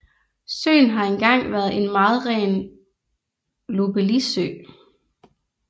Søen har engang været en meget ren lobeliesø